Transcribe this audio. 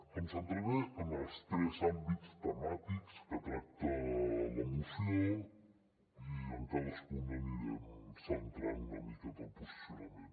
em centraré en els tres àmbits temàtics que tracta la moció i en cadascun anirem centrant una miqueta el posicionament